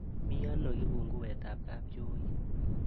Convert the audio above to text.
Miiano kibunkuweetab kabchooit